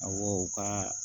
Awɔ u ka